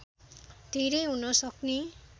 धेरै हुन सक्ने